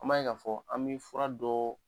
An b'a ye ka fɔ, an bɛ fura dɔ.